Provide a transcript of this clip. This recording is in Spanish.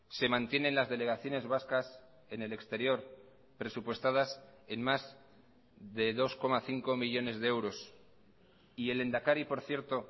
se mantienen las delegaciones vascas en el exterior presupuestadas en más de dos coma cinco millónes de euros y el lehendakari por cierto